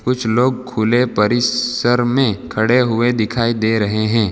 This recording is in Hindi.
कुछ लोग खुले परिस्सर में खड़े हुए दिखाई दे रहे हैं।